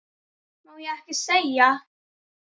Má ekki segja.